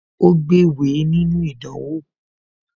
Ó gbéwèé nínú ìdánwò